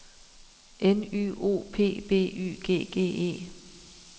N Y O P B Y G G E